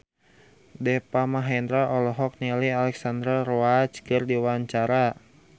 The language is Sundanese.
Deva Mahendra olohok ningali Alexandra Roach keur diwawancara